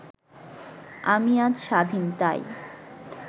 আমি আজ স্বাধীন তাই…